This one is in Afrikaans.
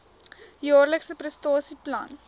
jaarlikse prestasie plan